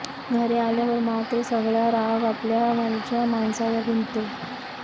घरी आल्यावर मात्र सगळा राग आपल्या घरच्या माणसांवर निघतो